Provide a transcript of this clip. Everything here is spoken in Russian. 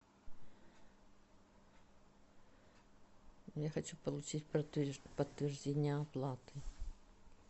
я хочу получить подтверждение оплаты